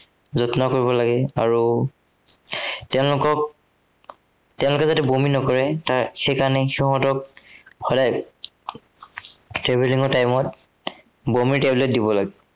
যত্ন কৰিব লাগে আৰু তেওঁলোকক, তেওঁলোকে যাতে বমি নকৰে তাৰ, সেই কাৰনে সিহঁতক সদায় travelling ৰ time ত বমিৰ tablet দিব লাগে।